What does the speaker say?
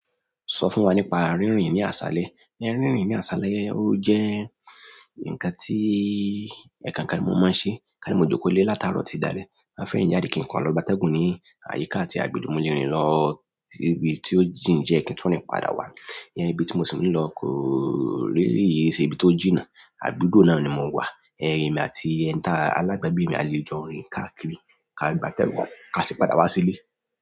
Sọ fún wa nípa rínrìn ní aṣálẹ. Rínrìn ní aṣálẹ ó jẹ́ ǹkan tí ẹkankan tí mo máa ń ṣe. Káni mo jókòó lé látaarọ tití dalẹ. Ma fẹ rin jáde kí ǹkan lọ gbá tẹ́gùn ní àyíká àti àgbègbè mo lé rìn lọ sí ibi tí ó jìn diẹ kí ń tún rìn padà wá. Ìyẹn ibi tí mo sì ń lọ kò really ṣe ibi tó jìnnà, àdúgbò náà ni mo wà. Ẹ emi àti alabagbe mi a le jọ rin kadiri ka gbatẹgun kasi padà wa sile.